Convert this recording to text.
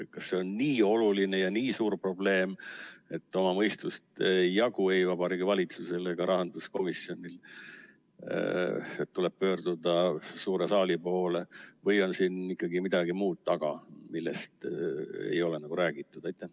Kas see on nii oluline ja nii suur probleem, et oma mõistust ei jagu ei Vabariigi Valitsusel ega rahanduskomisjonil ja tuleb pöörduda suure saali poole, või on siin ikkagi midagi muud taga, millest ei ole räägitud?